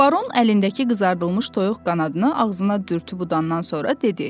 Baron əlindəki qızardılmış toyuq qanadını ağzına dürtüb udandan sonra dedi.